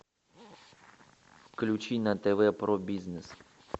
включи на тв про бизнес